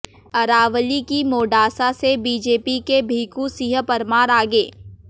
अरावली की मोडासा से बीजेपी के भीखू सिंह परमार आगे